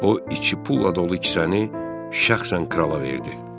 O, iki pulla dolu kisəni şəxsən krala verdi.